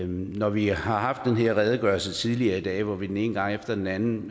når vi har haft den her redegørelse tidligere i dag hvor vi den ene gang efter den anden